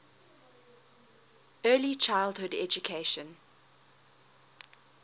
early childhood education